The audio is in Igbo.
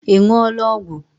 Ị ṅụọla ọgwụ?